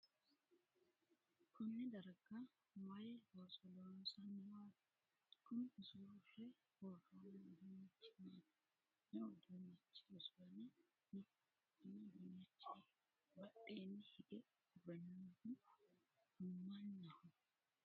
konne darga maay looso loonsanniwaati? kuni usurre worroonni uduunnichi maati? me'u uduunnichi usurame no? konni uduunnichi badheenni hige uurre noohu mannaho?